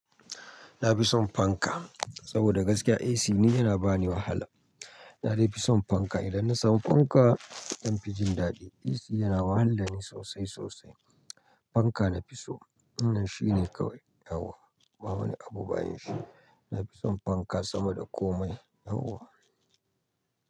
Na fi son fanka, saboda gaskiya AC ni yana ba ni wahala. Na dai fi son fanka, idan na samu fanka zan fi jin daɗi. AC yana wahalar da ni sosai sosai. Fanka na fi so, wannan shine kawai. Yauwa, ba wani abu bayan shi. Na fi son fanka sama da komai. Yauwa.